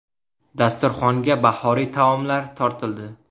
Dasturxonga bahoriy taomlar tortildi.